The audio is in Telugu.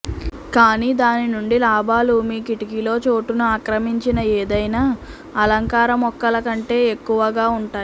కానీ దాని నుండి లాభాలు మీ కిటికీలో చోటును ఆక్రమించిన ఏదైనా అలంకార మొక్కల కంటే ఎక్కువగా ఉంటాయి